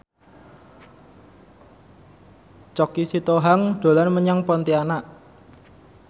Choky Sitohang dolan menyang Pontianak